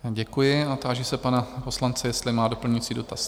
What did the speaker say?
Děkuji a táži se pana poslance, jestli má doplňující dotaz?